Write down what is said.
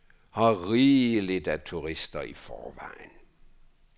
Her er rigeligt af turister i forvejen.